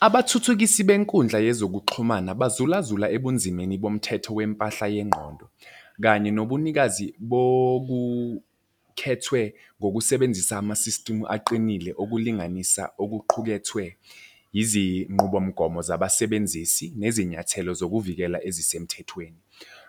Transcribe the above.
Abathuthukisi benkundla yezokuxhumana bazula zula ebunzimeni bomthetho wempahla yengqondo kanye nobunikazi bokukhethwe ngokusebenzisa ama-system aqinile okulinganisa okuqukethwe izinqubomgomo zabasebenzisi nezinyathelo zokuvikela ezisemthethweni.